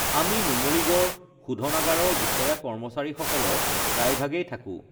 আমি নুমলীগড় শোধনাগাৰৰ বিষয়া কৰ্মচাৰীসকলৰ প্ৰায়ভাগেই থাকো